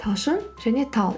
талшын және тал